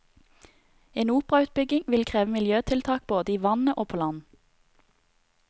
En operautbygging vil kreve miljøtiltak både i vannet og på land.